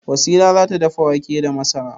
Wasila za ta dafa wake da masara.